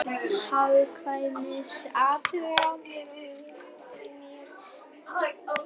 Hagkvæmniathuganir fyrir hitaveitur í níu bæjum í Ungverjalandi.